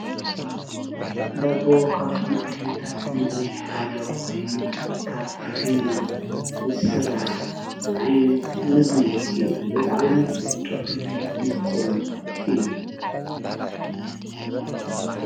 ዳቦ ካብቶም ዓይነታት ምግቢ ሓደ ኮይኑ ካብ ፊኖ ዝስራሕ ዓይነት ምግቢ እዩ፡፡ ብጣዕሚ ጥዕሙን ምቁርን እዩ፡፡